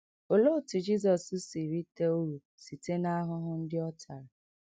Olee otú Jizọs si rite uru site n’ahụhụ ndị ọ tara?